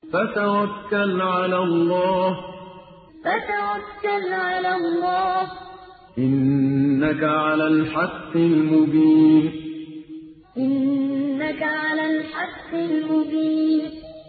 فَتَوَكَّلْ عَلَى اللَّهِ ۖ إِنَّكَ عَلَى الْحَقِّ الْمُبِينِ فَتَوَكَّلْ عَلَى اللَّهِ ۖ إِنَّكَ عَلَى الْحَقِّ الْمُبِينِ